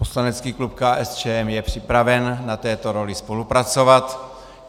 Poslanecký klub KSČM je připraven na této roli spolupracovat.